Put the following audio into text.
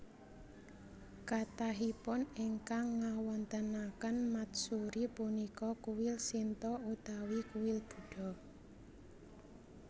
Kathahipun ingkang ngawontenaken matsuri punika kuil Shinto utawi kuil Buddha